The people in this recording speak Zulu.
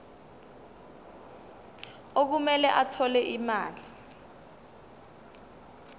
okumele athole imali